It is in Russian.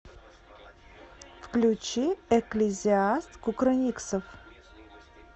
включи экклезиаст кукрыниксов